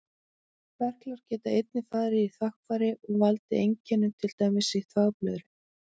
Berklar geta einnig farið í þvagfæri og valdið einkennum, til dæmis frá þvagblöðru.